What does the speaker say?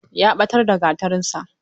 Ya ɓatar da Gatarinsa.